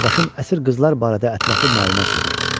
Qardaşım əsir qızlar barədə ətraflı məlumat yığır.